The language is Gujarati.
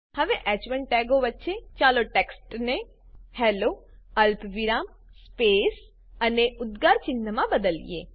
હવે હ1 ટેગો વચ્ચે ચાલો ટેક્સ્ટને હેલ્લો અલ્પવિરામ સ્પેસ અને ઉદ્દગાર ચિન્હમાં બદલીએ